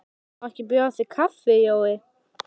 Má ekki bjóða þér kaffi, Jói?